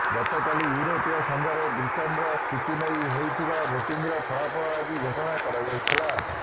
ଗତକାଲି ଇଉରୋପୀୟ ସଂଘରେ ବ୍ରିଟେନର ସ୍ଥିତି ନେଇ ହୋଇଥିବା ଭୋଟିଂର ଫଳାଫଳ ଆଜି ଘୋଷଣା କରାଯାଇଥିଲା